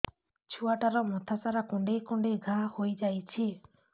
ଛୁଆଟାର ମଥା ସାରା କୁଂଡେଇ କୁଂଡେଇ ଘାଆ ହୋଇ ଯାଇଛି